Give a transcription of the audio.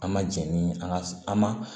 An ma jɛn ni an ka an ma